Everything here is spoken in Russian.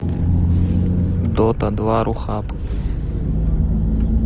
дота два рухаб